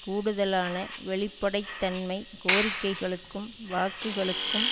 கூடுதலான வெளிப்படைத்தன்மை கோரிக்கைகளுக்கும் வாக்குகளுக்கும்